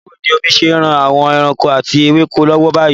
Báwo ni omi ṣe ń ran àwọn ẹranko àti ewéko lọ́wọ́ báyìí?